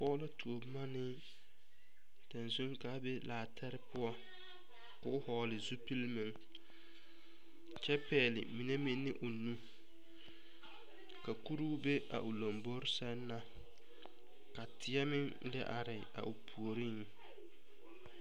Pɔge la tuo boma ne tazuŋ ka a be laatɛre poɔ k'o vɔgle zupili meŋ kyɛ pɛgle mine meŋ ne o nu ka kuruu be a lombori sɛŋ na ka teɛ meŋ are a o puoriŋ.